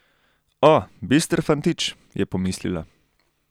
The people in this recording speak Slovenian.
O, bister fantič, je pomislila.